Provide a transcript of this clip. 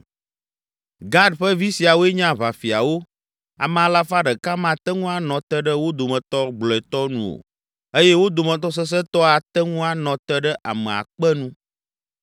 Gad ƒe vi siawoe nye aʋafiawo; ame alafa ɖeka mate ŋu anɔ te ɖe wo dometɔ gblɔetɔ nu o eye wo dometɔ sesẽtɔ ate ŋu anɔ te ɖe ame akpe nu.